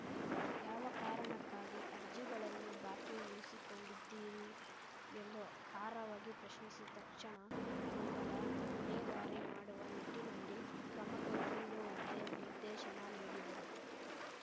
ಯಾವ ಕಾರಣಕ್ಕಾಗಿ ಅರ್ಜಿಗಳನ್ನು ಬಾಕಿ ಉಳಿಸಿಕೊಂಡಿದ್ದೀರಿ ಎಂದು ಖಾರವಾಗಿ ಪ್ರಶ್ನಿಸಿ ತಕ್ಷಣ ಅವುಗಳ ವಿಲೇವಾರಿ ಮಾಡುವ ನಿಟ್ಟಿನಲ್ಲಿ ಕ್ರಮ ಕೈಗೊಳ್ಳುವಂತೆ ನಿರ್ದೇಶನ ನೀಡಿದರು